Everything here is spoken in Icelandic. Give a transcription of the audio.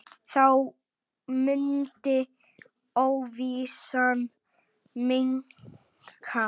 Þá mundi óvissan minnka.